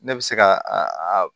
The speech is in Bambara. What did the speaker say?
Ne bɛ se ka a